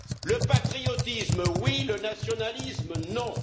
Le patriotisme oui, le nationalisme non!